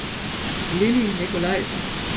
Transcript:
Lilly Nicolaisen